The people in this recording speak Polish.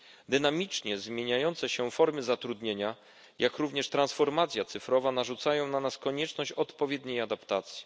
Dynamicznie zmieniające się formy zatrudnienia, jak również transformacja cyfrowa narzucają na nas konieczność odpowiedniej adaptacji.